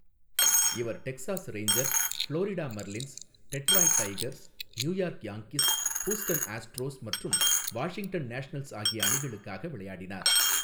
இவர் Texas Rangers, Florida Marlins, Detroit Tigers, New York Yankees, Houston Astros மற்றும் Washington Nationals ஆகிய அணிகளுக்காக விளையாடினார்.